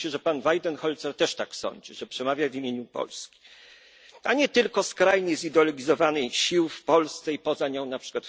Zdaje się, że pan Weidenholzer też tak sądzi, że przemawia w imieniu Polski, a nie tylko w imieniu skrajnie zideologizowanych sił w Polsce i poza nią, np.